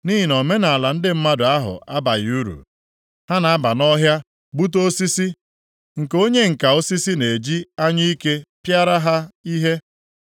Nʼihi na omenaala ndị mmadụ ahụ abaghị uru. Ha na-aba nʼọhịa gbute osisi, nke onye ǹka osisi na-eji anyụike pịara ha ihe.